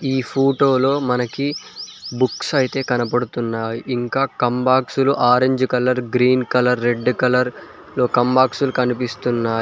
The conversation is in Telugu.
ఈ ఫోటోలో మనకి బుక్స్ అయితే కనపడుతున్నాయి ఇంకా కంబాక్స్లు orange colour green colour red colour కంబాక్స్ కనిపిస్తున్నాయి.